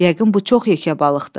Yəqin bu çox yekə balıqdır.